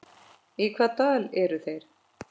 Í hvaða dal eru þeir?